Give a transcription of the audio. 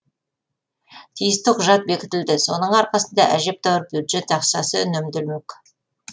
тиісті құжат бекітілді соның арқасында әжептәуір бюджет ақшасы үнемделмек